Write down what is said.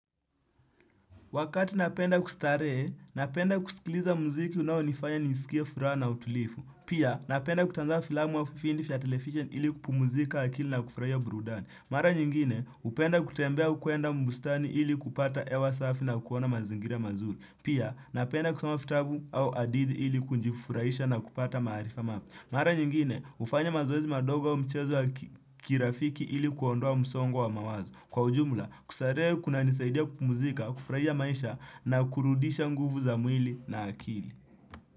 Wakati napenda kustarehe, napenda kusikiliza muziki unaonifanya nisikie furaha na utulivu. Pia, napenda kutazama filamu au vipindi vya television ili kupumzika akili na kufurahia burudani. Mara nyingine, hupenda kutembea au kwenda bustani ili kupata hewa safi na kuona mazingira mazuri. Pia, napenda kusoma vitabu au hadithi ili kujifurahisha na kupata maarifa mapya. Mara nyingine, hufanya mazoezi madogo au mchezo wa kirafiki ili kuondoa msongo wa mawazo. Kwa ujumla, kustarehe kunanisaidia kupumzika, kufurahia maisha na kurudisha nguvu za mwili na akili.